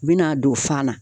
U be n'a don fan na